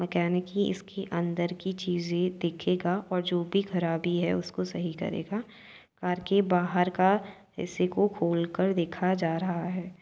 Mechanic ही इसके अंदर की चीजे देखेगा और जो भी खराबी है उसको सही करेगा। कार के बाहर का हिस्से को खोल कर देखा जा रहा है।